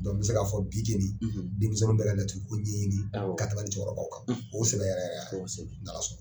N bɛ se k'a fɔ bi keni denmisɛnninw bɛ ka laturu ko ɲɛɲini ka tɛmɛ hali cɛkɔrɔba kan u sɛbɛ yɛrɛ yɛrɛ y'a ye, kosɛbɛ, ni Ala sɔnna.